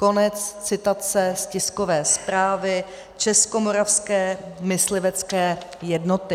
Konec citace z tiskové zprávy Českomoravské myslivecké jednoty.